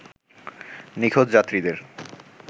নিখোঁজ যাত্রীদের